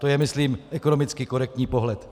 To je myslím ekonomicky korektní pohled.